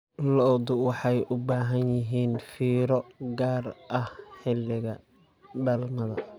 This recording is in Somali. Lo'du waxay u baahan yihiin fiiro gaar ah xilliga dhalmada.